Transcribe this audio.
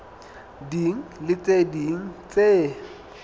ding le tse ding tse